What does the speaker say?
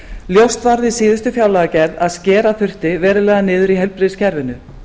ljóst var við síðustu fjárlagagerð að skera þyrfti verulega niður í heilbrigðiskerfinu